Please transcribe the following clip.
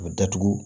A bɛ datugu